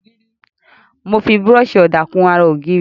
Mo fi búrọ́ọ̀ṣì ọ̀dà kun ara ògiri.